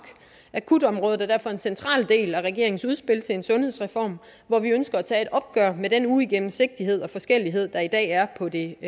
akutområdet er derfor en central del af regeringens udspil til en sundhedsreform hvor vi ønsker at tage et opgør med den uigennemsigtighed og forskellighed der i dag er på det